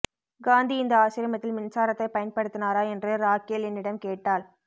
காந்தி இந்த ஆசிரமத்தில் மின்சாரத்தை பயன்படுத்தினாரா என்று ராகேல் என்னிடம் கேட்டாள்